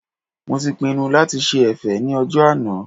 Mo ti pinnu lati ṣe ẹ̀fẹ̀ ní ọjọ́ náà